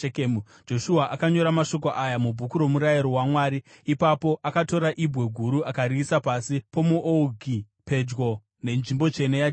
Joshua akanyora mashoko aya mubhuku romurayiro waMwari. Ipapo akatora ibwe guru akariisa pasi pomuouki, pedyo nenzvimbo tsvene yaJehovha.